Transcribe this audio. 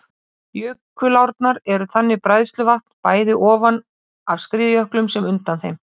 Jökulárnar eru þannig bræðsluvatn, bæði ofan af skriðjöklum sem undan þeim.